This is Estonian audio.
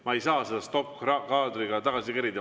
Ma ei saa seda stoppkaadriga tagasi kerida.